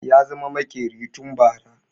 Ya zama maƙeri tun bara